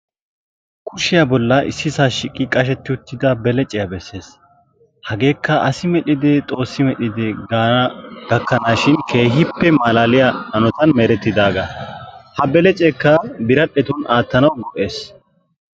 kushiyaa bollan issisaa shiiqi uttida beleciyaa besses. hegeekka asi medhide xoossi medhide gaana gakkanaashin keehippe malaaliyaa hanotan merettidaaga. ha beleceekka biradhdhetun aattanawu go"ees.